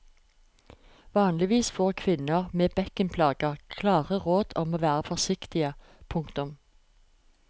Vanligvis får kvinner med bekkenplager klare råd om å være forsiktige. punktum